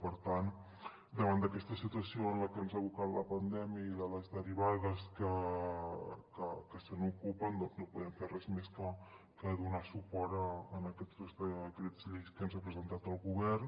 per tant davant d’aquesta situació a la que ens ha abocat la pandèmia i de les derivades que se n’ocupen no podem fer res més que donar suport a aquests dos decrets llei que ens ha presentat el govern